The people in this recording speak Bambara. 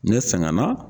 Ne sɛgɛnna